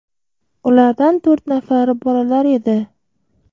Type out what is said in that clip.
Ulardan to‘rt nafari bolalar edi.